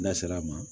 N'a sera a ma